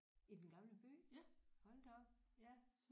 I Den Gamle By hold da op ja